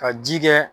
Ka ji kɛ